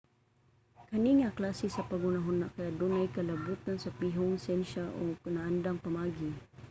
kani nga klase sa paghuna-huna kay adunay kalabotan sa pihong siyensya o mga naandang pamaagi